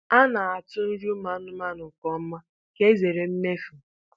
A na-atụ nri anụmanụ nke ọma ka e zere mmefu.